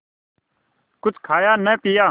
कुछ खाया न पिया